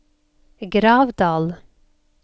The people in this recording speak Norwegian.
Gravdal